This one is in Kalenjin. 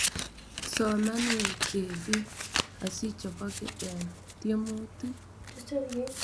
Soman wee chebii osiichoboke eng tyemutik